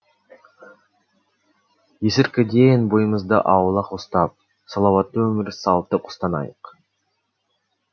есірткіден бойымызды аулақ ұстап салауатты өмір салтын ұстанайық